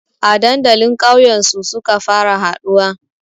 A dandalin kauyen su suka fara haɗuwa